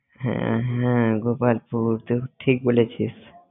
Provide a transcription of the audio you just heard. হ্যাঁ হ্যাঁ গোপালপুর তুই ঠিক বলেছিস।